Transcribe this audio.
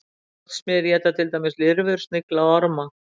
Járnsmiðir éta til dæmis lirfur, snigla og orma.